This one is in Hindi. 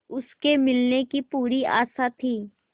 उसके मिलने की पूरी आशा थी